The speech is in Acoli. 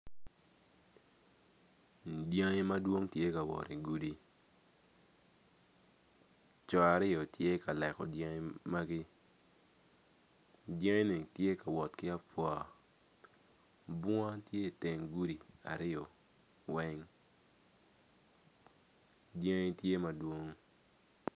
Dyangi madwong giti ka wot igudi co aryo tye ka leko dyangi magi dyangi-ni tye ka wot ki abwua bunga ti iteng gudi aryo weng dyangi tye madwong.